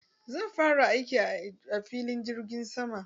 Zan fara aiki a filin jirgin sama.